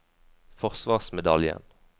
forsvarsmedaljen